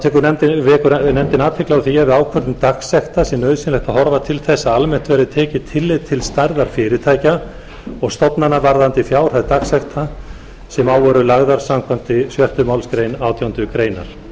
fresti þá vekur nefndin athygli á því að við ákvörðun dagsekta sé nauðsynlegt að horfa til þess að almennt verði tekið tillit til stærðar fyrirtækja og stofnana varðandi fjárhæð dagsekta sem á eru lagðar samkvæmt sjöttu málsgrein átjándu